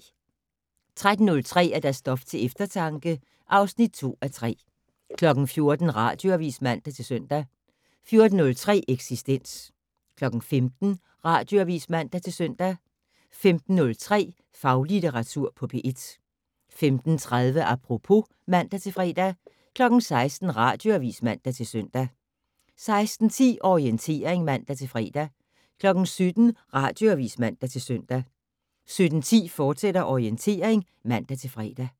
13:03: Stof til eftertanke (2:3) 14:00: Radioavis (man-søn) 14:03: Eksistens 15:00: Radioavis (man-søn) 15:03: Faglitteratur på P1 15:30: Apropos (man-fre) 16:00: Radioavis (man-søn) 16:10: Orientering (man-fre) 17:00: Radioavis (man-søn) 17:10: Orientering, fortsat (man-fre)